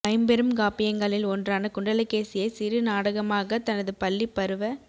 ஐம்பெரும் காப்பியங்களில் ஒன்றான குண்டலகேசியை சிறு நாடகமாகத் தனது பள்ளிப் பருவ